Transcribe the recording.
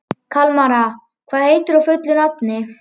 Kalmara, hvað heitir þú fullu nafni?